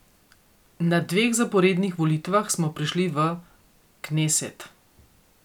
Na dveh zaporednih volitvah smo prišli v kneset.